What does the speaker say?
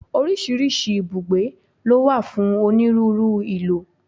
Oríṣiríṣi ibùgbé ló wà fún onírúurú ìlò.